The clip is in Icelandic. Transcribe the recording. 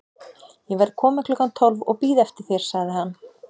Ég verð kominn klukkan tólf og bíð eftir þér sagði hann.